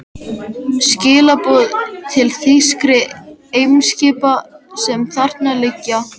Skilaboð til þýskra eimskipa, sem þarna liggja.